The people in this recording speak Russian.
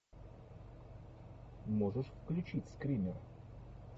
можешь включить скример